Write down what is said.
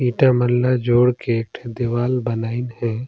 ईटा मन ल जोड़ के एक ठन दिवार बनाइन हे।